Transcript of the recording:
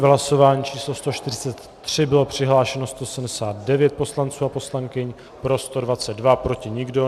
V hlasování číslo 143 bylo přihlášeno 179 poslanců a poslankyň, pro 122, proti nikdo.